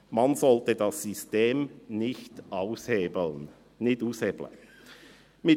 «Man sollte das System nicht aushebeln» – «nicht aushebeln»!